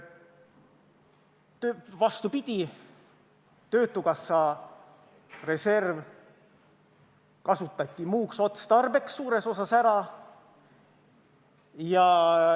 Vastupidi, töötukassa reserv kasutati muuks otstarbeks suures osas ära.